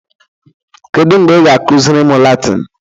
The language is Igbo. Kedu mgbe ị ga-akụziri m Latịn?